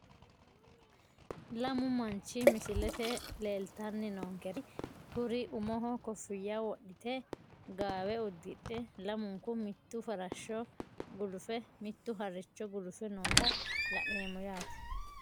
Lamu manchi misilete leelitani noonkeri kuri umoho kofiyya wodhite gaawe udidhe lamunku mittu farasho gulufe mittu haricho gulufe noota la`neemo yate.